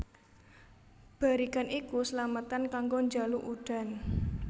Barikan iku slametan kanggo njaluk udan